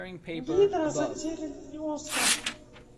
гидра затерянный остров